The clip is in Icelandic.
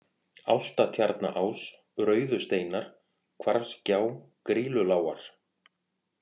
Álftatjarnaás, Rauðusteinar, Hvarfsgjá, Grýlulágar